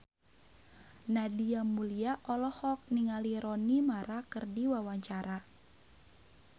Nadia Mulya olohok ningali Rooney Mara keur diwawancara